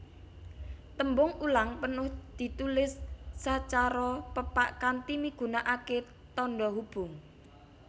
Tembung ulang penuh ditulis sacara pepak kanthi migunakaké tandha hubung